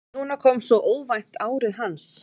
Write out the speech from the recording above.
Núna kom svo óvænt árið hans.